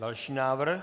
Další návrh.